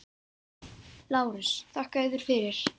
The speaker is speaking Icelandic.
LÁRUS: Þakka yður fyrir.